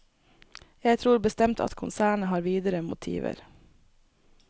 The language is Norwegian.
Jeg tror bestemt at konsernet har videre motiver.